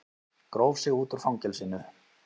Gróf sig út úr fangelsinu